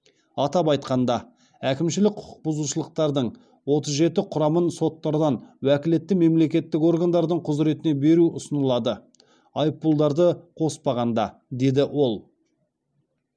атап айтқанда әкімшілік құқық бұзушылықтардың отыз жеті құрамын соттардан уәкілетті мемлекеттік органдардың құзыретіне беру ұсынылады деді ол